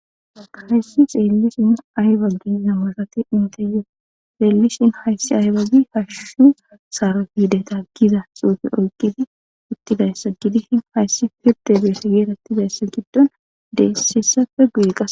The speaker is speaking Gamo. Akayyssi xeellishin ayba gizammasati inte yo leelishin hayssi aybagi hashushu saara fiideta giza xuufe oyqqidi uttibayssa gidi hin hayssi firde beeshe geerattidayssa giddon deessisafe guyi qas.